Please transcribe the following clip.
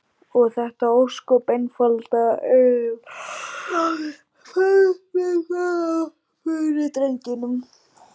Og þetta ósköp einfaldlega eyðilagði ferminguna fyrir drengnum.